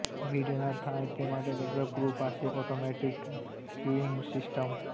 ભીડ ન થાય તે માટે ગર્ભગૃહ પાસે ઓટોમેટિક ક્યુઇંગ સિસ્ટમ